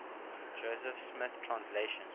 joseph smith translation